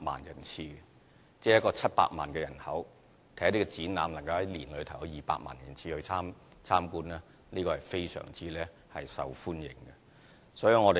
香港只有700萬人口，而展覽在1年內能夠有200萬人次參觀，證明這些展覽是非常受歡迎的。